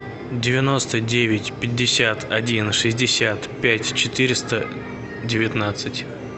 девяносто девять пятьдесят один шестьдесят пять четыреста девятнадцать